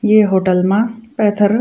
ये होटल मा पैथर --